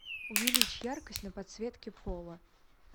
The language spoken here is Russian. увеличь яркость на подсветке пола